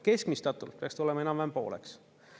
Keskmistatult peaks tulema enam-vähem pooleks.